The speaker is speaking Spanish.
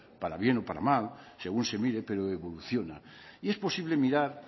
para bien o para mal según se mire pero evoluciona y es posible mirar